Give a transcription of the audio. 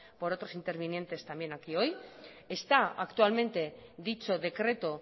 por otros intervinientes también hoy aquí está actualmente dicho decreto